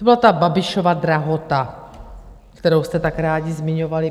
To byla ta Babišova drahota, kterou jste tak rádi zmiňovali.